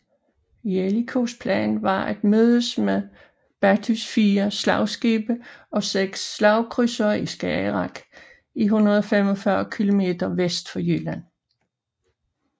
Jellicoes plan var at mødes med Beattys fire slagskibe og seks slagkrydsere i Skagerrak 145 kilometer vest for Jylland